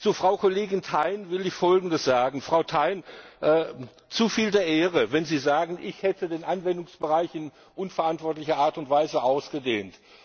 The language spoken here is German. Zu Frau Kollegin Thein will ich Folgendes sagen Frau Thein, zu viel der Ehre, wenn Sie sagen, ich hätte den Anwendungsbereich in unverantwortlicher Art und Weise ausgedehnt.